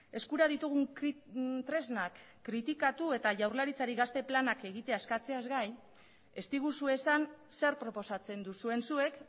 eskura ditugun tresnak kritikatu eta jaurlaritzari gazte planak egitea eskatzeaz gain ez diguzue esan zer proposatzen duzuen zuek